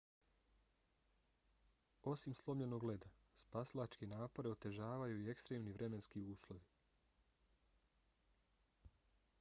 osim slomljenog leda spasilačke napore otežavaju i ekstremni vremenski uslovi